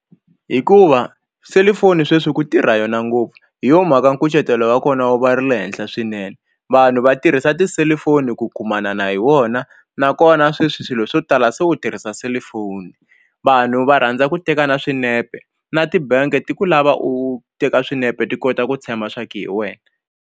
Hikuva selufoni sweswi ku tirha yona ngopfu hi yo mhaka nkucetelo wa kona wu va ri le henhla swinene vanhu va tirhisa tiselufoni ku kumana hi wona na ku kona sweswi swilo swo tala se u tirhisa selifoni vanhu va rhandza ku teka na swinepe na tibangi ti ku lava u teka swinepe ti kota ku tshemba swa ku hi wena.